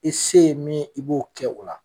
I se ye min ye, i b'o kɛ o la.